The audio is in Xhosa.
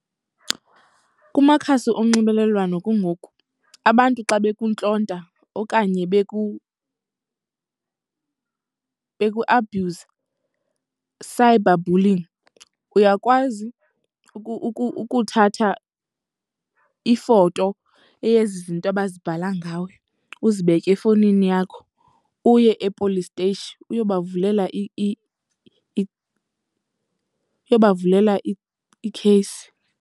Kumakhasi onxibelelwano kungoku abantu xa bekuntlonta okanye bekuabhyuza, cyberbullying, uyakwazi ukuthatha ifoto eyezi zinto abazibhala ngawe uzibeke efowunini yakho uye e-police steyishi uyobavulela uyobavulela ikheyisi.